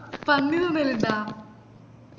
പന്നി തിന്നാലിൻഡാ